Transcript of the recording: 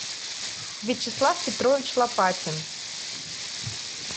вячеслав петрович лопатин